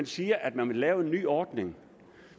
siger at man vil lave en ny ordning